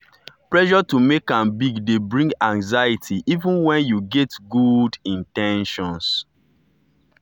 pressure to make am big dey bring anxiety even when yu get good good in ten tions.